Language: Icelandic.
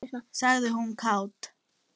sagði hún kát.